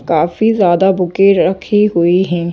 काफी ज्यादा बुके रखी हुई हैं।